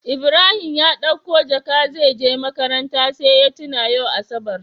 Ibrahim ya ɗauko jaka zeje makaranta sai ya tuna yau asabar